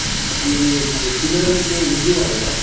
ಆದ್ರೆ ಈ ತಿಳವಳಿಕೆ ಇಲ್ದಿರೋರೋ